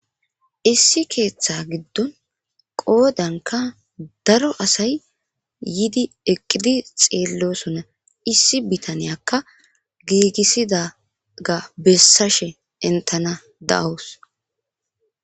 issi keeththa giddon qoodanka daro asay yidi eqqidi xeellosona. issi bitaniyakka giigissidaga bessashe entana da'os. De